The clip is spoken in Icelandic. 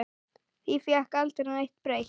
Því fékk aldrei neitt breytt.